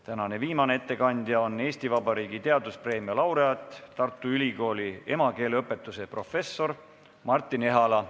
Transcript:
Tänane viimane ettekandja on Eesti Vabariigi teaduspreemia laureaat, Tartu Ülikooli emakeeleõpetuse professor Martin Ehala.